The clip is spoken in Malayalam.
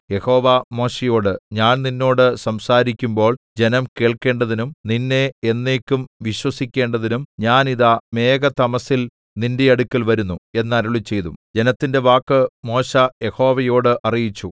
യഹോവ മോശെയോട് ഞാൻ നിന്നോട് സംസാരിക്കുമ്പോൾ ജനം കേൾക്കേണ്ടതിനും നിന്നെ എന്നേക്കും വിശ്വസിക്കേണ്ടതിനും ഞാൻ ഇതാ മേഘതമസ്സിൽ നിന്റെ അടുക്കൽ വരുന്നു എന്ന് അരുളിച്ചെയ്തു ജനത്തിന്റെ വാക്ക് മോശെ യഹോവയോട് അറിയിച്ചു